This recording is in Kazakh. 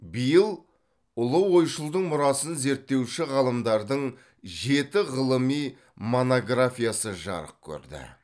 биыл ұлы ойшылдың мұрасын зерттеуші ғалымдардың жеті ғылыми монографиясы жарық көрді